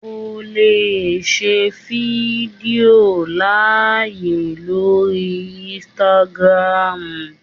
o le ṣe fídíò laaye lori Instagram